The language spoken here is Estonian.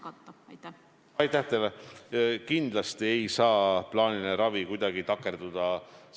Ka see tähendab lisaressurssi, sest tuleb personali hoida eraldi.